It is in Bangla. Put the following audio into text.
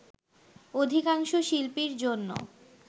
অধিকাংশ শিল্পীর জন্য